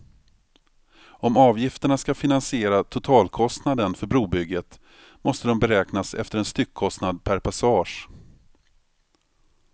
Om avgifterna ska finansiera totalkostnaden för brobygget måste de beräknas efter en styckkostnad per passage.